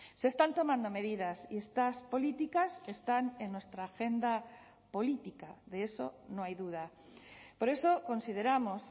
se están tomando medidas y estas políticas están en nuestra agenda política de eso no hay duda por eso consideramos